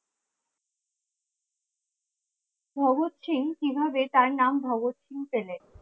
ভগৎ সিং কিভাবে তার নাম ভগৎ সিং পেলেন